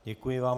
Děkuji vám.